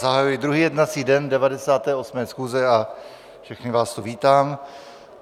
Zahajuji druhý jednací den 98. schůze a všechny vás tu vítám.